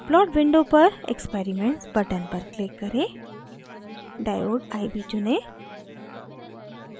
plot window पर experiments button पर click करें diode iv चुनें